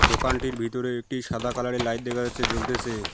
দোকানটির ভিতরে একটি সাদা কালার -এর লাইট দেখা যাচ্ছে জ্বলতেছে।